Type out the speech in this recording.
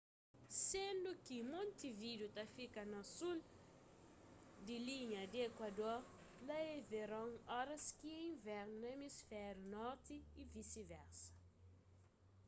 sendu ki montevideo ta fika na sul di linha di ekuador lá é veron óras ki é invernu na emisfériu norti y visi-versa